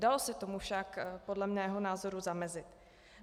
Dalo se tomu však podle mého názoru zamezit.